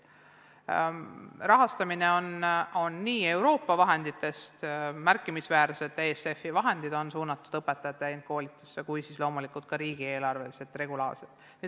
Rahastamine käib Euroopa vahenditest, ESF-i vahendid on märkimisväärselt suunatud õpetaja täienduskoolitusse, loomulikult kasutatakse regulaarselt ka riigieelarvelist raha.